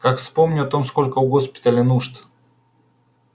как вспомню о том сколько у госпиталя нужд